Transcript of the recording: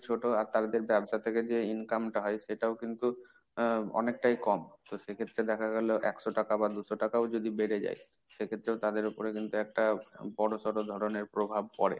ছোট আর তাদের ব্যবসা থেকে যে income টা হয় সেটাও কিন্তু আহ অনেকটাই কম তো সে ক্ষেত্রে দেখা গেল একশ টাকা বা দুশো টাকা ও যদি বেড়ে যায় সে ক্ষেত্রেও তাদেরই ওপরে কিন্তু একটা বড়সড়ো ধরনের প্রভাব পরে।